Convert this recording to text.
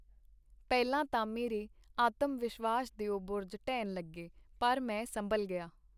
ਪਹਿਲਾਂ ਤਾਂ ਮੇਰੇ ਆਤਮ-ਵਿਸ਼ਵਾਸ ਦਿਓ ਬੁਰਜ ਢਹਿਣ ਲਗੇ, ਪਰ ਮੈਂ ਸੰਭਲ ਗਿਆ.